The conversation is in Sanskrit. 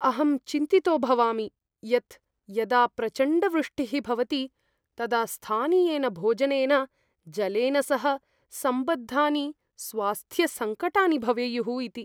अहं चिन्तितो भवामि यत् यदा प्रचण्डवृष्टिः भवति तदा स्थानीयेन भोजनेन, जलेन सह सम्बद्धानि स्वास्थ्यसङ्कटानि भवेयुः इति।